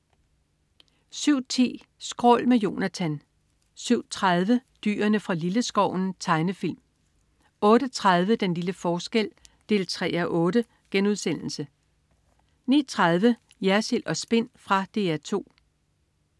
07.10 Skrål. Med Jonatan 07.30 Dyrene fra Lilleskoven. Tegnefilm 08.30 Den lille forskel 3:8* 09.30 Jersild & Spin. Fra DR 2